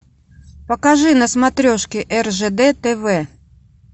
покажи на смотрешке ржд тв